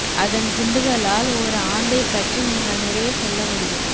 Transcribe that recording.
அதன் குண்டுகளால் ஒரு ஆந்தை பற்றி நீங்கள் நிறைய சொல்ல முடியும்